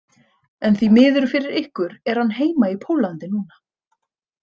En því miður fyrir ykkur er hann heima í Póllandi núna.